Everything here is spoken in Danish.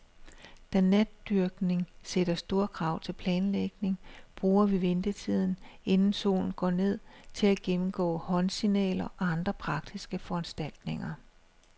Da natdykning sætter store krav til planlægning, bruger vi ventetiden, inden solen går ned, til at gennemgå håndsignaler og andre praktiske foranstaltninger.